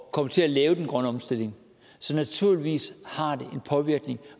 at komme til at lave den grønne omstilling så naturligvis har det en påvirkning